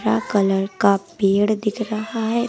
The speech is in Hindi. कलर का पेड़ दिख रहा है।